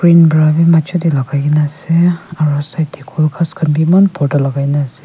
bra bi majo deh lagaigina asey aro side kol ghas khan bi eman borta lagai gina asey.